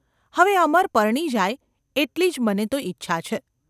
‘હવે અમર પરણી જાય એટલી જ મને તો ઇચ્છા છે.